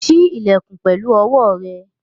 Ṣí ilẹ̀kùn pẹ̀lú owó rẹ̀!